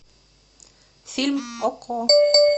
фильм окко